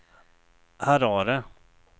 Harare